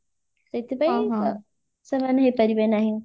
ସେଇଥିପାଇଁ ସେମାନେ ହେଇପାରିବେ ନାହିଁ